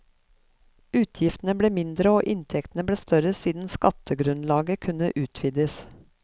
Utgiftene ble mindre og inntektene ble større siden skattegrunnlaget kunne utvides.